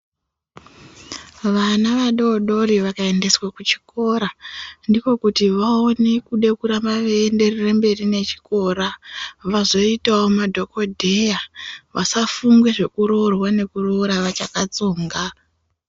Vana vadodori vakaendeswe kuchikora ndikokuti vaone kude kuramba vaienderera mberi nechikora vazoitavo madhogodheya. Vasafunge zvekuroorwa nekuroora vachakatsonga.